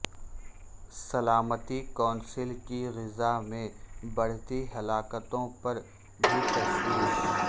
سلامتی کونسل کی غزہ میں بڑھتی ہلاکتوں پر بھی تشویش